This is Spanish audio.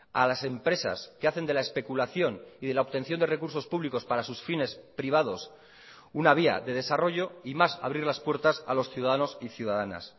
a las empresas que hacen de la especulación y de la obtención de recursos públicos para sus fines privados una vía de desarrollo y más abrir las puertas a los ciudadanos y ciudadanas